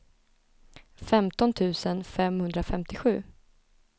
femton tusen femhundrafemtiosju